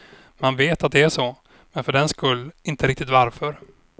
Man vet att det är så, men för den skull inte riktigt varför.